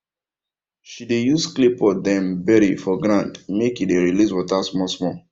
she dey use claypot dem bury for ground make e dey release water small small